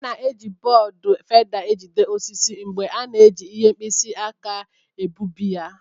A na-eji bọọdụ feda ejide osisi mgbe a na-eji ihe mkpisi aka na-egbubi ya.